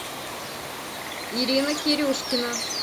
ирина кирюшкина